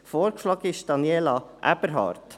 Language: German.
Vorgeschlagen ist Frau Daniela Aeberhard.